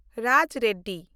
Raj Reddy